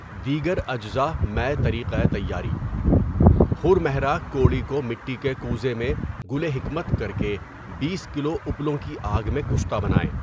دیگر اجزاء مع طریقۂ تیاری: خر مہرہ کَوڑِی کو مٹی کے کوزہ میں گلِ حکمت کر کے بیس کلو اُپلوں کی آگ میں کشتہ بنائیں۔